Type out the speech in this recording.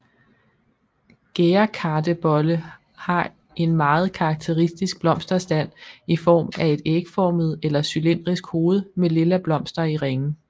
Gærdekartebolle har en meget karakteristisk blomsterstand i form af et ægformet eller cylindrisk hoved med lilla blomster i ringe